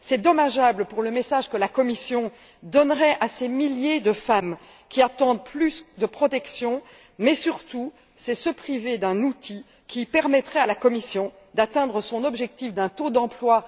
C'est dommageable pour le message que la Commission donnerait à ces milliers de femmes qui attendent plus de protection mais surtout, c'est se priver d'un outil qui permettrait à la Commission d'atteindre son objectif en matière d'emploi.